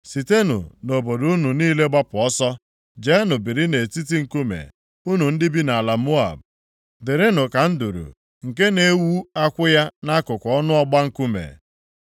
Sitenụ nʼobodo unu niile gbapụ ọsọ; jeenụ biri nʼetiti nkume, unu ndị bi nʼala Moab. Dịrịnụ ka nduru nke na-ewu akwụ ya nʼakụkụ ọnụ ọgba nkume.